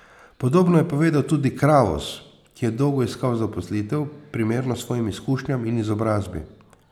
Podobno je povedal tudi Kravos, ki je dolgo iskal zaposlitev, primerno svojim izkušnjam in izobrazbi.